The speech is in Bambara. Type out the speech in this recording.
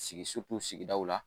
Sigi sigidaw la